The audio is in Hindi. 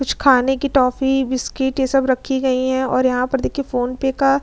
कुछ खाने की टॉफी बिस्किट ये सब रखी गई हैं और यहां पर देखिए फोन पे का --